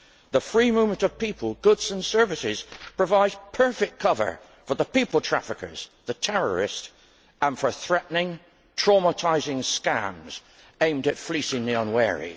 The free movement of people, goods and services provides perfect cover for the people traffickers, the terrorists and for threatening, traumatising scams aimed at fleecing the unwary.